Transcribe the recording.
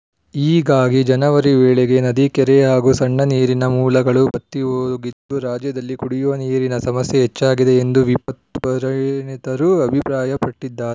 ಹೀಗಾಗಿ ಜನವರಿ ವೇಳೆಗೆ ನದಿ ಕೆರೆ ಹಾಗೂ ಸಣ್ಣ ನೀರಿನ ಮೂಲಗಳು ಬತ್ತಿಹೋಗಿದ್ದು ರಾಜ್ಯದಲ್ಲಿ ಕುಡಿಯುವ ನೀರಿನ ಸಮಸ್ಯೆ ಹೆಚ್ಚಾಗಿದೆ ಎಂದು ವಿಪತ್ತು ಪರಿಣತರು ಅಭಿಪ್ರಾಯಪಟ್ಟಿದ್ದಾ